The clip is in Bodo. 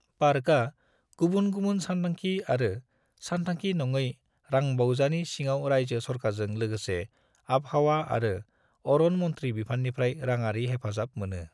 पार्का गुबुन गबुन सानथांखि आरो सानथांखि नङै रांबावजानि सिङाव रायजो सरखारजों लोगोसे आबहावा आरो अरन मन्थ्रि बिफाननिफ्राय राङारि हेफाजाब मोनो।